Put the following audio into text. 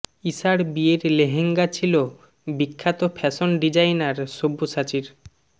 ইশার বিয়ের লেহঙ্গা ছিল বিখ্যাত ফ্যাশন ডিজাইনার সব্যসাচীর